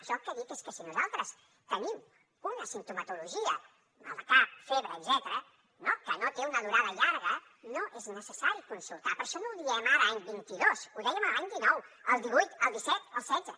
jo el que dic és que si nosaltres tenim una simptomatologia mal de cap febre etcètera no que no té una durada llarga no és necessari consultar però això no ho diem ara any vint dos ho dèiem l’any dinou el divuit el disset el setze